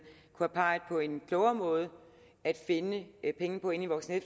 kunne pege på en klogere måde at finde penge på i voksen og